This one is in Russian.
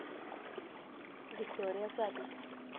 виктория запись